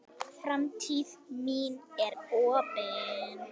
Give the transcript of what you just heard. Framtíð mín er opin.